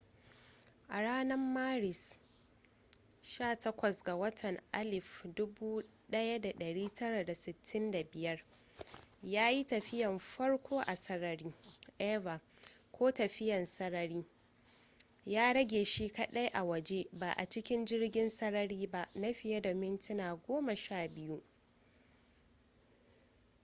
a ranar maris 18 1965 ya yi tafiya na farko a sarari eva ko tafiyan sarari” ya rage shi kadai a waje ba a cikin jirgin sarari ba na fiye da mintuna goma sha biyu